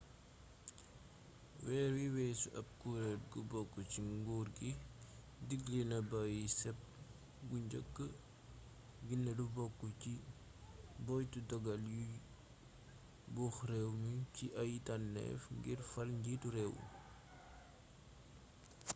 weer wii weesu ab kureel gu bokk ci nguur gi diggle na bàyyi cep gu njëkk gi ne lu bokk ci boyetu doggal yuy buux réew mi ci ay tànneef ngir fal njiitu réew